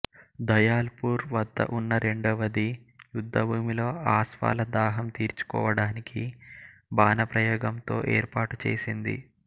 Dayal poor వద్ద ఉన్న రెండవది యుద్ధభూమిలో ఆస్వాల దాహం తీర్చడానికి బాణప్రయోగంతో ఏర్పాటు చేసింది